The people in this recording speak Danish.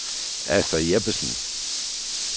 Astrid Jeppesen